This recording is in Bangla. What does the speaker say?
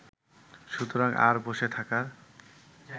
সুতরাং আর বসে থাকার